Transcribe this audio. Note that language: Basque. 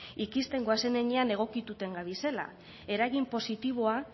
ikisten goazen heinean egokituten gabizela eragin positiboa